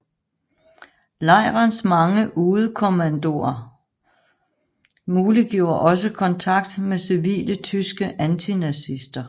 Lejrens mange udekommandoer muliggjorde også kontakt med civile tyske antinazister